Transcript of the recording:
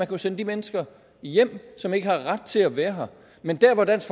kunne sende de mennesker hjem som ikke har ret til at være her men der hvor dansk